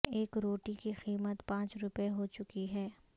ایک روٹی کی قیمت پانچ روپے ہو چکی ہے